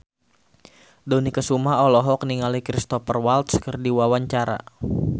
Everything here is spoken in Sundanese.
Dony Kesuma olohok ningali Cristhoper Waltz keur diwawancara